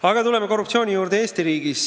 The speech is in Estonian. Aga tuleme korruptsiooni juurde Eesti riigis.